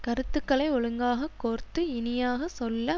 கருத்துக்களை ஒழுங்காகக் கோர்த்து இனியாக சொல்ல